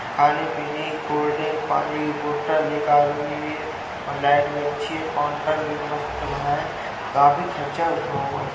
खाने पीने cold drink पानी की बोटल एक आदमी भी है और लाइट भी अच्छी है। काउंटर भी मस्त बना है। काफी खर्चा हुआ हुआ --